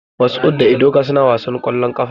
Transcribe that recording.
Mashood da Ebuka suna wasan ƙwallon ƙafa.